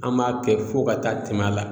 An b'a kɛ fo ka taa tɛmɛ a la